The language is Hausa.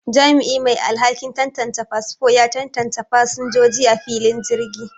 Jami'i mai alhakin tantance fasfo ya tantance fasinjoji a filin jirgi